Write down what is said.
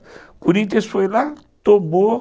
O Corinthians foi lá, tomou